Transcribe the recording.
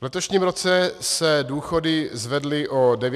V letošním roce se důchody zvedly o 900 korun.